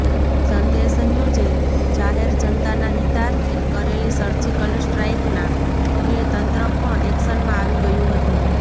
સંદેશ ન્યૂઝે જાહેર જનતાના હિતાર્થે કરેલી સર્જીકલ સ્ટ્રાઇકના પગલે તંત્ર પણ એક્શનમાં આવી ગયું હતું